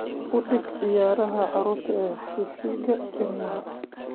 U dhig ciyaaraha carruurta ee TV-ga ilmaha